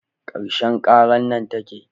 Karshen karar nan take